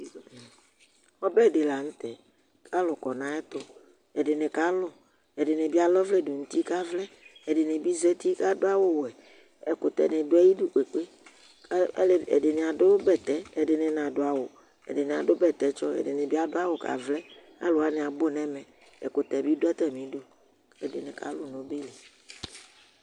Ɔbɛ dɩ la nʋ tɛ, kalʋ kɔ nayɛtʋƐdɩnɩ ka lʋ ,ɛdɩnɩ bɩ ala ɔvlɛ dʋ nʋ uti kavlɛ, ɛdɩnɩ bɩ zati k' adʋ awʋ wɛƐkʋtɛ nɩ dʋ ayidu kpekpe Alevi ,ɛdɩnɩ adʋ bɛtɛ ,ɛdɩnɩ n' adʋ awʋ, ɛdɩnɩ adʋ bɛtɛtsɔ, ɛdɩnɩ bɩ adʋ awʋ kʋ avlɛAlʋ wanɩ abʋ nɛmɛ, ɛkʋtɛ bɩ dʋ atamɩ idu, ɛdɩnɩ ka lʋ nʋ ɔbɛ